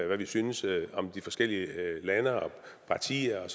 hvad vi synes om de forskellige lande og partier og